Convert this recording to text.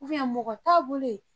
mɔgɔ t'a bolo yen.